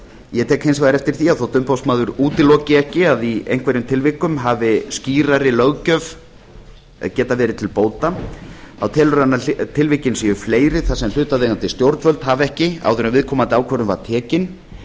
ég tek hins vegar eftir því að þótt umboðsmaður útiloki ekki að í einhverjum tilvikum hafi skýrari löggjöf getað verið til bóta þá telur hann að tilvikin séu fleiri þar sem hlutaðeigandi stjórnvöld hafi ekki áður en viðkomandi ákvörðun var tekin